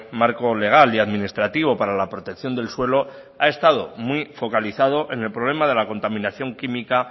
marco legal y administrativo para la protección del suelo ha estado muy focalizado en el problema de la contaminación química